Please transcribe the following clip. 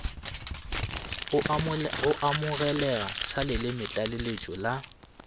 go amogelega sa lelemetlaleletšo la